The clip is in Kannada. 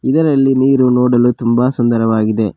ಇದರಲ್ಲಿ ನೀರು ನೋಡಲು ತುಂಬಾ ಸುಂದರವಾಗಿದೆ.